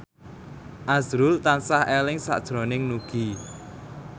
azrul tansah eling sakjroning Nugie